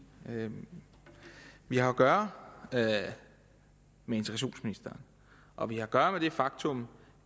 vi har at gøre med integrationsministeren og vi har at gøre med det faktum